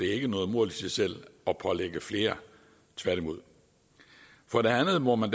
er noget mål i sig selv at pålægge flere tværtimod for det andet må man